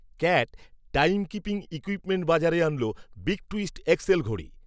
cat, timekeeping equipment বাজারে আনল, big twist, X L ঘড়ি